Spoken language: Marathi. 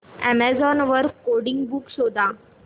अॅमेझॉन वर कोडिंग बुक्स शोधा